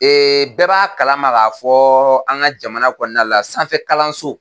bɛɛ b'a kalama k'a fɔɔ an ŋa jamana kɔɔna la sanfɛkalanso